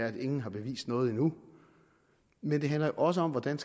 at ingen har bevist noget endnu men det handler også om hvordan